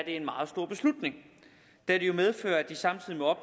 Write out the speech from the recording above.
en meget stor beslutning da det jo medfører at de samtidig må